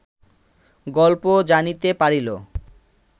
গল্প জানিতে পারিল